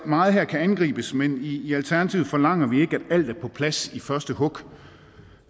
meget her kan angribes men i i alternativet forlanger vi ikke at alt er på plads i første hug